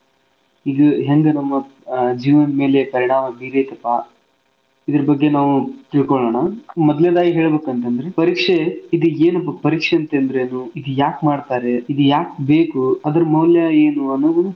ಇದು ಹೆಂಗ್ ನಮ್ಮ ಹ್ಮ್ ಜೀವನದ್ ಮೇಲೆ ಪರಿಣಾಮ ಬೀರೇತಪಾ ಇದ್ರ ಬಗ್ಗೆ ನಾವು ತಿಳ್ಕೋಳೋಣ. ಮೊದ್ಲ್ನೇದಾಗಿ ಹೇಳ್ಬೇಕು ಅಂತಂದ್ರೆ ಪರೀಕ್ಷೆ ಇದು ಏನು ಪರೀಕ್ಷೆಂತೆಂದ್ರೆ ಇದು ಯಾಕ್ ಮಾಡ್ತಾರೆ ಇದು ಯಾಕ್ ಬೇಕು ಅದರ್ ಮೌಲ್ಯ ಏನು? ಅನ್ನೋದುನ್.